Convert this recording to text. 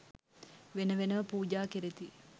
වෙන වෙනම පූජා කෙරෙති.